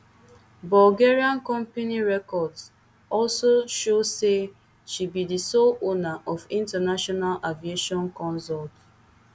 bulgarian company records also show say she be di sole owner of international aviation consult